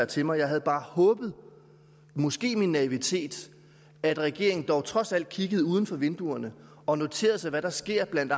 til mig jeg havde bare håbet måske i min naivitet at regeringen dog trods alt kiggede uden for vinduet og noterede sig hvad der sker blandt